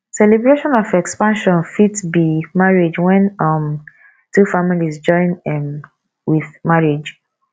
celebration of expansion fit be marriage when um two families join um with marriage